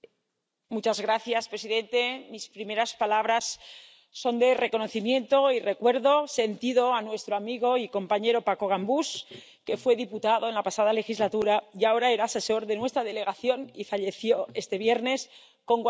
Señor presidente, mis primeras palabras son de reconocimiento, y sentido recuerdo, para nuestro amigo y compañero Paco Gambús, que fue diputado en la pasada legislatura y ahora era asesor de nuestra delegación y falleció este viernes, a los 45 años.